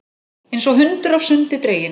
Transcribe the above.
Einsog hundur af sundi dreginn.